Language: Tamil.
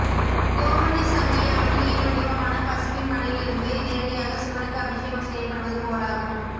கோமடிசங்கை அம்பிகையின் வடிவமான பசுவின் மடியில்இருந்து நேரிடையாக சிவனுக்கு அபிஷேகம் செய்யப்படுவது போலாகும்